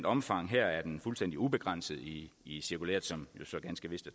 omfang her er den fuldstændig ubegrænset i i cirkulæret som jo så ganske vist